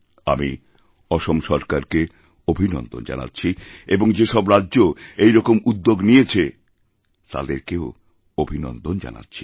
আমি অসম সরকারকে অভিনন্দন জানাচ্ছিএবং যে সব রাজ্য এই রকম উদ্যোগ নিয়েছে তাদেরকেও অভিনন্দন জানাচ্ছি